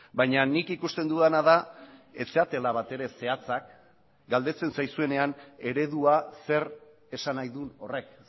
baina nik ikusten dudana da ez zaretela batere zehatzak galdetzen zaizuenean eredua zer esan nahi duen horrek